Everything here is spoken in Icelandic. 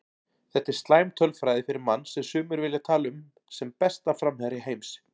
Þetta er slæm tölfræði fyrir mann sem sumir vilja tala um sem besta framherja heims.